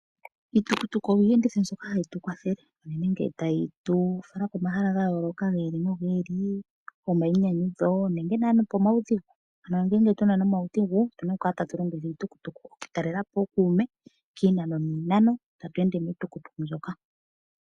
Iitukutuku oyo iiyenditho mbyono hayi tu kwathele uunene ngele tayi tu fala komahala ga yooloka gi ili nogi ili go mayinyanyudho nenge pomaudhigu. Ano ngele tuna omaudhigu otuna oku kala tatu longitha iitukutuku oku talelapo ookume kiinano niinano tatu ende miitukutuku mbyoka.